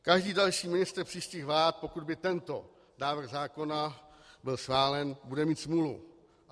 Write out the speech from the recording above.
Každý další ministr příštích vlád, pokud by tento návrh zákona byl schválen, bude mít smůlu.